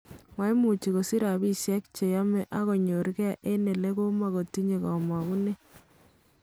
Maimuch kosich rapishek cheyome akonyor ge eng elemokotinye komogunet.